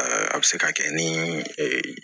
a bɛ se ka kɛ ni